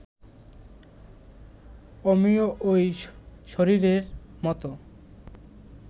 অমনি ওই শরীরের মতো